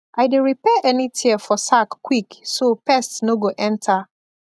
i dey repair any tear for sack quick so pest no go enter